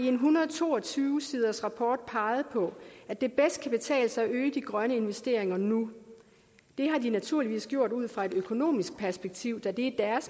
en hundrede og to og tyve siders rapport peget på at det bedst kan betale sig at øge de grønne investeringer nu det har de naturligvis gjort ud fra et økonomisk perspektiv da det er